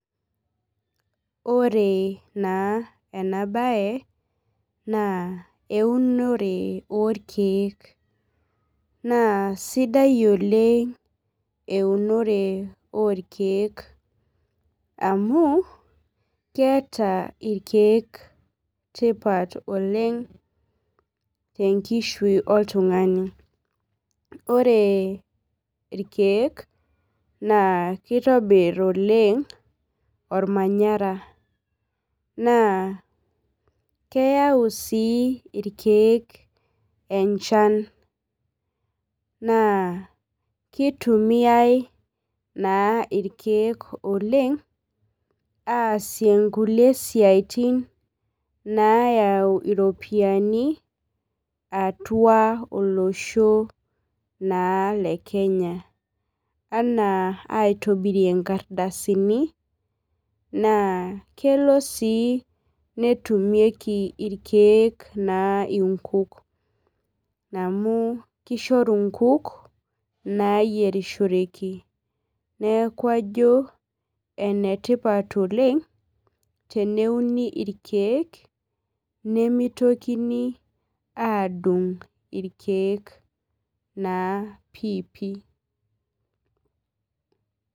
Ore na enabae na eunore orkiek na sidai oleng eunore orkiek amu keeta irkiek tipat oleng tenkushui oltungani ore irkiek na kitobir oleng ormanyara na keyau si irkiek enchan na kitumiai irkiek oleng aasie nkulie siatin nayau ropiyani atua olosho le Kenya ana aitobirie nkardasinina kelo si netumieki irkiek nkuk amu kishoru nkuk nayierisboreki neaku ajo enetipat oleng teneuni irkiek nimitokini adung irkiek naa piipii.